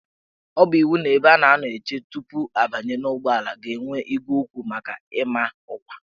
Ọ bụ iwu na ebe a na-anọ eche tupu abanye n' ụgbọelu ga-enwe igwe okwu maka ịma ọkwa.